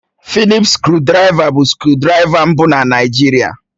Fịlịp skrụdiraiva bụ skrụdiraiva mbụ na Naịjirịa